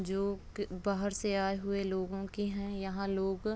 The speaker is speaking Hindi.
जोक बाहर से आए हुए लोगों की हैं यहाँ लोग --